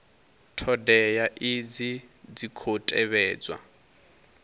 thodea idzi dzi khou tevhedzwa